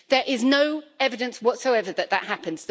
There is no evidence whatsoever that this will happen.